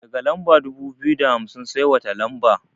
Daga lamba dubu biyu da hamsin sai wata lamba?